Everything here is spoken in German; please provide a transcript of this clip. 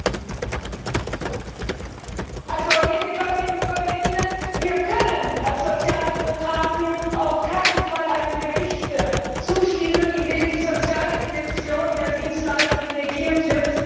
Frau Präsidentin, liebe Kolleginnen und Kollegen! Wir können als Sozialdemokraten auf keinen Fall einem Bericht zustimmen, in dem die soziale Dimension der Dienstleistungen negiert wird.